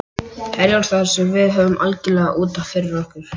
Herjólfsdal sem við höfðum algjörlega út af fyrir okkur.